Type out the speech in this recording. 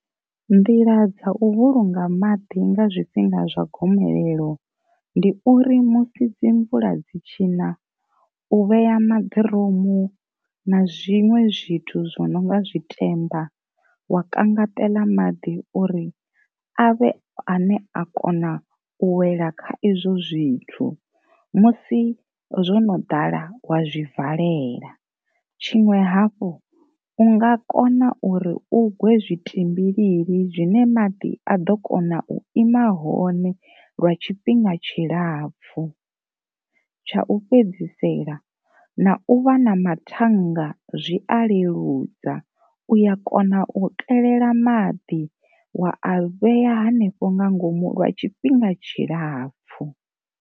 Nḓila dza u vhulunga maḓi nga zwifhinga zwa gomelelo ndi uri musi dzi mvula dzi tshi na u vheya maḓiromu na zwiṅwe zwithu zwi nonga zwi temba wa kangaṱela maḓi uri avhe a ne a kona u wela kha izwo zwithu, musi zwono ḓala wa zwi valela, tshiṅwe hafhu u nga kona uri u gwe zwitimbilili zwine maḓi a ḓo kona u ima hone lwa tshifhinga tshilapfu. Tsha u fhedzisela na u vha na ma thannga zwi a leludza uya kona u kelela maḓi wa a vheya hanefho nga ngomu lwa tshifhinga tshilapfhu.